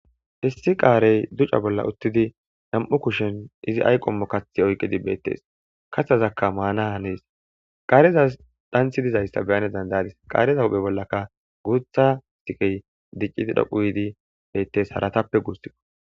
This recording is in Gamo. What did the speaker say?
issi qaarey duca bolla uttidi nam7u kushen izi ayqommo kathi oyqidi beettes kattazakka maana hanees qaareza dhanthi dizayssa beyane dandadis qaareza huphe bollaka guutha sikey diccidi dhoqu yiidi beettes haratappe guussikko